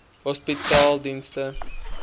hospitaledienste